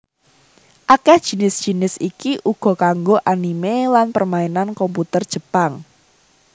Akèh jinis jinis iki uga kanggo anime lan permainan komputer Jepang